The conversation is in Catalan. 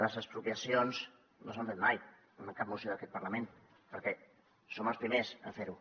les expropiacions no s’han fet mai en cap moció d’aquest parlament perquè som els primers a fer ho